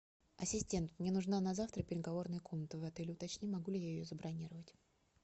ассистент мне нужна на завтра переговорная комната в отеле уточни могу ли я ее забронировать